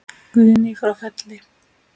Guðný frá Felli.